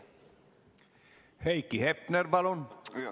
Heiki Hepner, palun!